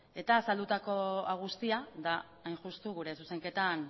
eta azaldutako hau guztia da hain justu gure zuzenketan